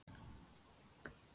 Ofnir kransar úr landsins gæðum